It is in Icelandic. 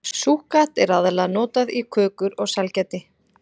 Súkkat er aðallega notað í kökur og sælgæti.